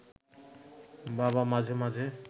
বাবা মাঝে মাঝে